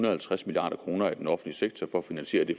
og halvtreds milliard kroner i den offentlige sektor for at finansiere det